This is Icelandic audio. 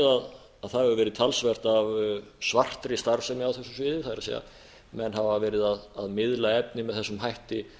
að það hefur verið talsvert af svartri starfsemi á þessu sviði það er menn hafa verið að miðla efni með þessum hætti